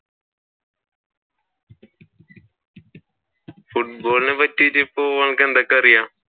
Football നെ പറ്റിയിട്ട് ഇപ്പോൾ നിനക്ക് എന്തൊക്കെ അറിയാം?